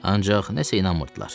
Ancaq nəsə inanmırdılar.